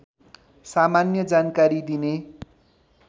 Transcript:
सामान्य जानकारी दिने